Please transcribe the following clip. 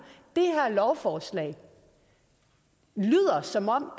lovforslag lyder som om